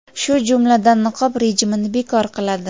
shu jumladan niqob rejimini bekor qiladi.